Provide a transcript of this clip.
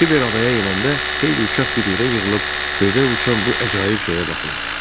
Kiber adaya enəndə xeyli uşaq bir yerə yığılıb göydə uçan bu əcayib şeyə baxırdı.